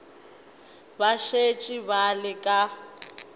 ba šetše ba le ka